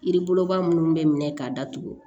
Yiri boloba munnu bɛ minɛ k'a datugu